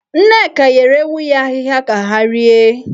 Nneka nyere ewu ya ahịhịa ka ha rie.